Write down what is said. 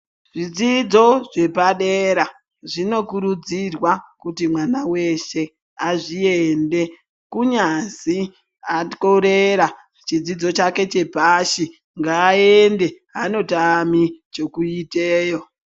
Zvidzidzo zvepadera zvino kurudzirwa kuti mwana weshe azviende kunyazi akorera chidzidzo chake chepashi ngaa ende ano tami chekuitewo.